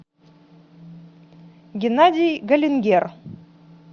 геннадий галингер